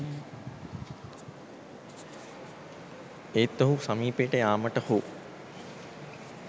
ඒත් ඔහු සමීපයට යාමට හෝ